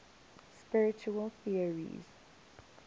spiritual theories